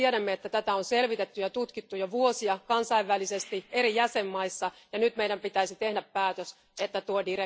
Tiedämme, että tätä on selvitetty ja tutkittu jo vuosia kansainvälisesti eri jäsenmaissa, ja nyt meidän pitäisi tehdä päätös, että tuo direktiivi kumotaan.